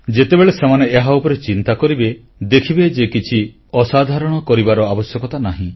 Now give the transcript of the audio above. ଯେତେବେଳେ ସେମାନେ ଏହା ଉପରେ ଚିନ୍ତା କରିବେ ଦେଖିବେ ଯେ କିଛି ଅସାଧାରଣ କରିବାର ଆବଶ୍ୟକତା ନାହିଁ